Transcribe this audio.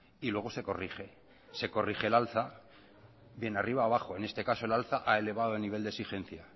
y luego se corrige se corrige el alza bien arriba o abajo en este caso el alza ha elevado el nivel de exigencia